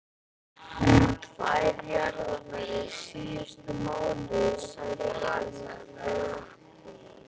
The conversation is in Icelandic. Tvær jarðarfarir síðustu mánuði, sagði hann.